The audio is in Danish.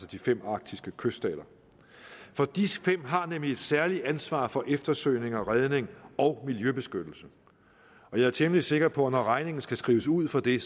de fem arktiske kyststater for disse fem har nemlig et særligt ansvar for eftersøgning og redning og miljøbeskyttelse jeg er temmelig sikker på at når regningen skal skrives ud for det